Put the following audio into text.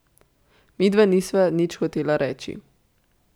Midva nisva nič hotela reči.